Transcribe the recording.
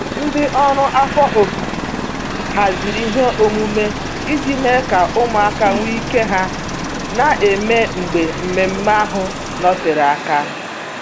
Ndị ọrụ afọ ofufo haziri ihe omume iji mee ka ụmụaka nwe ike ha na-eme mgbe mmemmé ahụ nọtere aka.